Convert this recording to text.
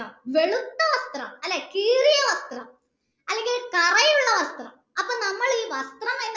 വെളുത്ത വസ്ത്രം അല്ലെ കീറിയ വസ്ത്രം അല്ലെങ്കിൽ കരയുള്ള വസ്ത്രം അപ്പൊ നമ്മൾ ഈ വസ്ത്രം എന്ന്